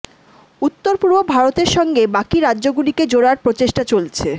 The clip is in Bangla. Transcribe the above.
উত্তর পূর্ব ভারতের সঙ্গে বাকি রাজ্যগুলিকে জোড়ার প্রেচেষ্টা চলছে